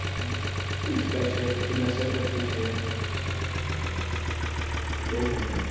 હીચકા છે પહચી લસણપટ્ટી છે